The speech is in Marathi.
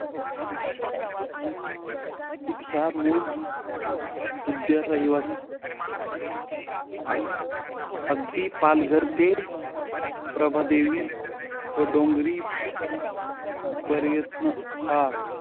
हेक्सा मोल्ड उद्या रविवार अं अगदी पालघर ते प्रभादेवी व डोंगरी पर्यत्न हा